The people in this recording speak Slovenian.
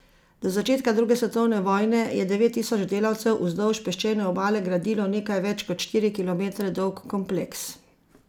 Do začetka druge svetovne vojne je devet tisoč delavcev vzdolž peščene obale gradilo nekaj več kot štiri kilometre dolg kompleks.